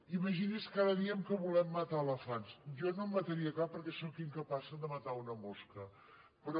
imagini’s que ara diem que volem matar elefants jo no en mataria cap perquè sóc incapaç de matar una mosca però